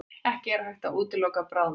Ekki hægt að útiloka bráðnun